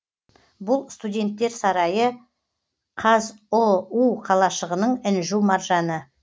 бұл студенттер сарайы қазұу қалашығының інжу маржаны